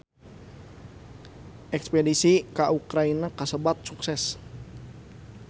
Espedisi ka Ukraina kasebat sukses